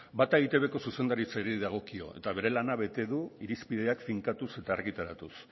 bata eitbko zuzendaritzari dagokio eta bere lana bete du irizpideak finkatuz eta argitaratuz